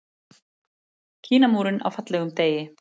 Kínamúrinn á fallegum degi.